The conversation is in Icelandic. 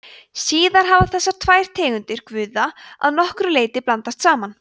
síðar hafa þessar tvær tegundir guða að nokkru leyti blandast saman